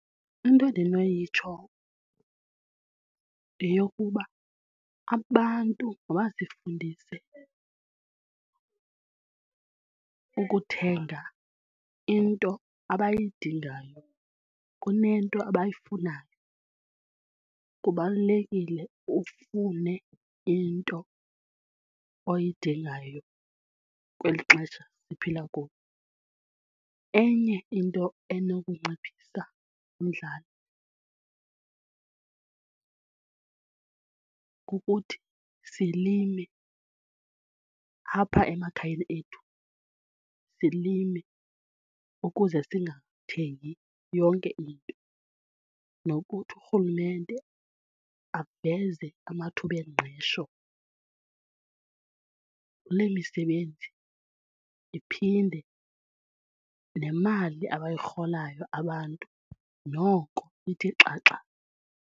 Into endinoyitsho yeyokuba abantu mabazifundise ukuthenga into abayidingayo kunento abayifunayo. Kubalulekile ufune into oyidingayo kweli xesha siphila kulo. Enye into enokunciphisa umdlalo kukuthi silime apha emakhayeni ethu silime ukuze singathengi yonke into nokuthi urhulumente aveze amathuba engqesho kule misebenzi iphinde nemali abayirholayo abantu noko ithi xaxa.